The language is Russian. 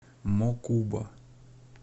мокуба